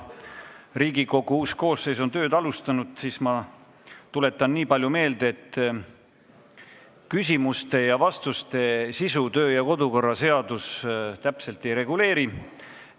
Riigikogu uus koosseis on tööd alustanud ja ma märgin veel kord, et küsimuste ja vastuste sisu meie kodu- ja töökorra seadus täpselt ei reguleeri.